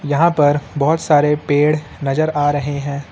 यहां पर बहोत सारे पेड़ नजर आ रहे हैं।